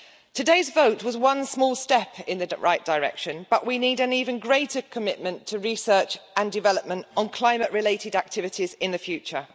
Today's vote was one small step in the right direction, but we need an even greater commitment to research and development on climate related activities in the future.